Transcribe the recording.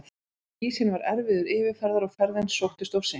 Ísinn var erfiður yfirferðar og ferðin sóttist of seint.